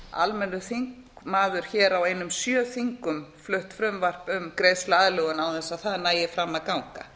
almennur þingmaður hér á einum sjö þingum flutt frumvarp um greiðsluaðlögun án þess að það næði fram að ganga